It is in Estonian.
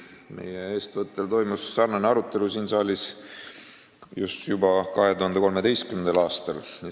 Meie eestvõttel toimus sarnane arutelu siin saalis juba 2013. aastal.